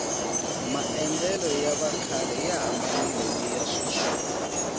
maendlelo ya vakhale ya hambanile niya sweswi